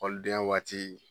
Ekɔlidenya waati